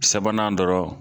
sabanan dɔrɔn